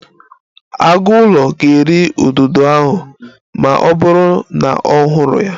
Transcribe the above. Agụụlọ ga-eri ududo ahụ ma ọ bụrụ na ọ hụrụ ya